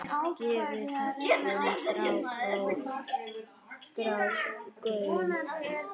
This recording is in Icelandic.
Gefið þessum strák gaum.